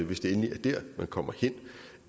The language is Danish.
hvis det endelig er der man kommer hen